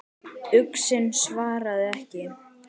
Uxinn svaraði ekki.